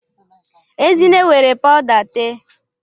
Ezinne were pawuda tee